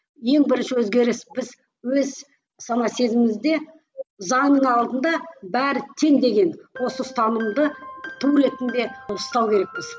ең бірінші өзгеріс біз өз сана сезімімізде заңның алдында бәрі тең деген осы ұстанымды ту ретінде ұстау керекпіз